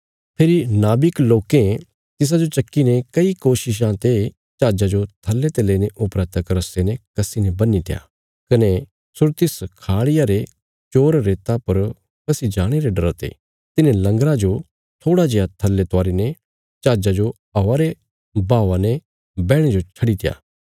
फेरी जहाजा रे कर्मचारी दल रे माहणुएं तिसाजो चक्कीने कई कोशिशां ते जहाजा जो थल्ले ते लेईने उपरा तक रस्से ने कस्सीने बन्हीत्या कने सुरतिस खाड़िया रे चोर रेता पर फसी जाणे रे डरा ते तिन्हें लंगर जो थोड़ा जेआ थल्ले उतारी ने जहाजा जो हवा रे बहावा सौगीसौगी बैहणे रे खातर छड्डीत्या